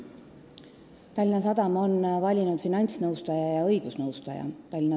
Tallinna Sadam on valinud finantsnõustaja ja õigusnõustaja.